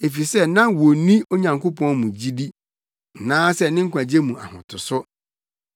efisɛ na wonni Onyankopɔn mu gyidi anaasɛ ne nkwagye mu ahotoso.